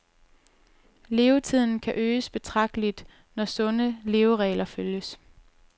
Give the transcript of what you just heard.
Levetiden kan øges betragteligt, når sunde leveregler følges.